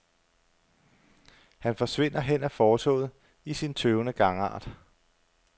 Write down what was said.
Han forsvinder hen ad fortovet i sin tøvende gangart.